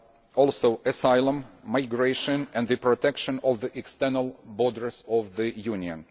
and also asylum, migration and the protection of the external borders of the Union.